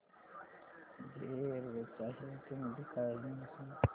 jet Airways च्या share चे मूल्य काय आहे मला सांगा